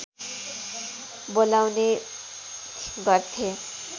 बोलाउने गर्थे